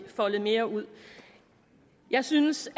foldet mere ud jeg synes